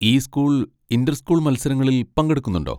ഈ school inter school മത്സരങ്ങളിൽ പങ്കെടുക്കുന്നുണ്ടോ?